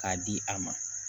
K'a di a ma